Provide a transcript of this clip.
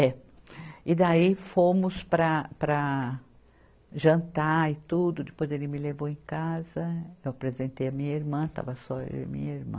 É, e daí fomos para, para jantar e tudo, depois ele me levou em casa, eu apresentei a minha irmã, estava só eu e minha irmã.